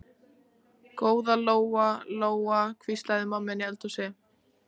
Góða Lóa Lóa, hvíslaði mamma inni í eldhúsi.